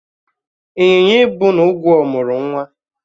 B. Ịnyịnya ibu na ugwó mụrụ ụmụ